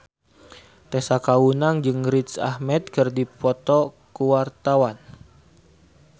Tessa Kaunang jeung Riz Ahmed keur dipoto ku wartawan